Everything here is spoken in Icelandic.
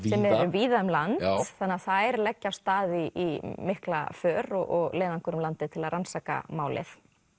víða um land þannig að þær leggja af stað í mikla för og leiðangur um landið til að rannsaka málið